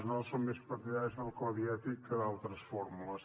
nosaltres som més partidaris del codi ètic que d’altres fórmules